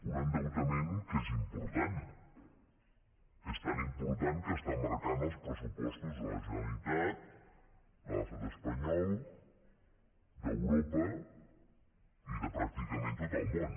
un endeutament que és important és tan important que està marcant els pressupostos de la generalitat de l’estat espanyol d’europa i de pràcticament tot el món